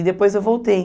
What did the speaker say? E depois eu voltei.